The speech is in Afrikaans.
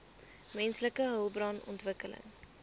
menslike hulpbron ontwikkeling